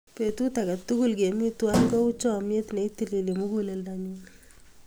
Petut ake tukul kemi twai kou chamyet ne itilili muguleldanyu.